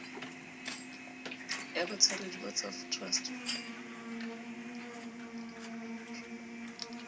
ya batshwaredi board of trustees